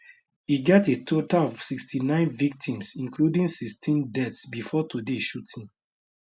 e get a total of 69 victims including 16 deaths bifor today shooting